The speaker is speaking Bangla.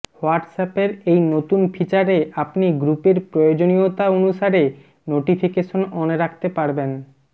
হোয়াটসঅ্যাপের এই নতুন ফিচারে আপনি গ্রুপের প্রয়োজনীয়তা অনুসারে নোটিফিকেশন অন রাখতে পারবেন